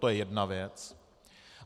To je jedna věc.